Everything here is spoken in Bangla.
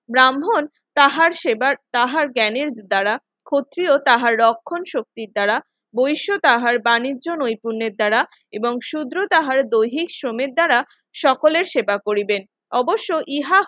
ব্রাহ্মণ তাহার সেবার তাহার জ্ঞানের দ্বারা ক্ষত্রিয় তাহার রক্ষণ শক্তি দ্বারা বৈশ্য তাহার বাণিজ্য নৈপুণ্যের দ্বারা এবং শূদ্র তাহারা দৈহিক শ্রমের দ্বারা সকলের সেবা করিবেন অবশ্যই ইহা